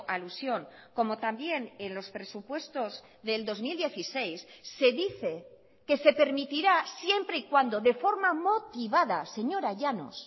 alusión como también en los presupuestos del dos mil dieciséis se dice que se permitirá siempre y cuando de forma motivada señora llanos